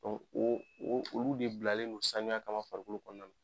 O o o olu de bilalen don sanuya kama farikolo kɔnɔna.